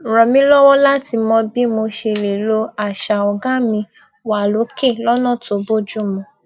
ràn mí lọwọ láti mọ bí mo ṣe lè lo àṣà ọgá mi wà lókè lónà tó bójú mu